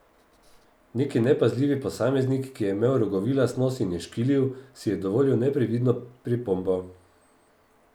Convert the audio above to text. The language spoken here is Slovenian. Neki nepazljivi posameznik, ki je imel rogovilast nos in je škilil, si je dovolil neprevidno pripombo.